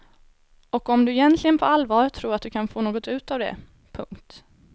Och om du egentligen på allvar tror att du kan få något ut av det. punkt